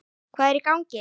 HVAÐ ER Í GANGI??